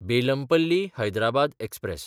बेलमपल्ली–हैदराबाद express